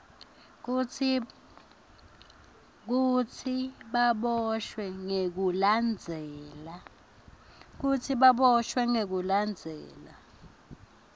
kutsi baboshwe ngekulandzela